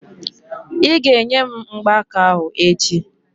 Ị́ ga-enye m mgbaaka ahụ echi!